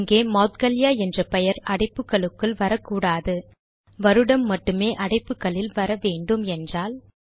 இங்கே மௌத்கல்யா என்ற பெயர் அடைப்புகளுக்குள் வரக்கூடாது வருடம் மட்டுமே அடைப்புகளில் வர வேண்டும் என்றால்